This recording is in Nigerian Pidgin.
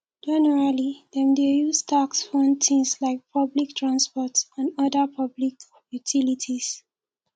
generally dem dey use tax fund things like public transport and oda public utilities